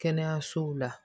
Kɛnɛyasow la